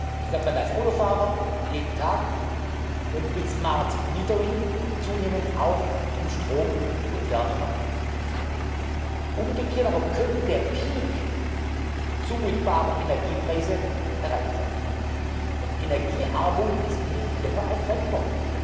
Das hört man als Autofahrer jeden Tag und mit smart metering zunehmend auch im Strom und Wärmemarkt. Umgekehrt aber könnte der Höchststand zumutbarer Energiepreise erreicht sein. Energiearmut ist nicht länger ein